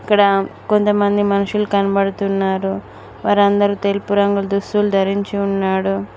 ఇక్కడ కొంతమంది మనుషులు కనపడుతున్నారు వారందరూ తెలుపు రంగుల్ దుస్తులు ధరించి ఉన్నాడు.